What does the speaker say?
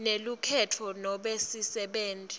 nelukhenkhetfo nobe sisebenti